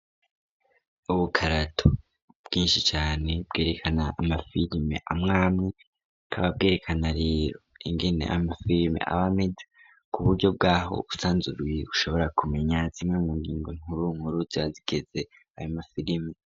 Ubukarato bwinshi cane bwerekana ama firime amwame k'aba bwerekana rero ingene amafirime ab’ameze ku buryo bw'aho usanzuruye ushobora kumenya zimwe mu ngingo nkuru nkuru zazigeze ayo mafirime.